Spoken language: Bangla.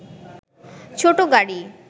ছোট গাড়ি